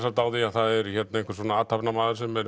á því að það er einhver athafnamaður sem er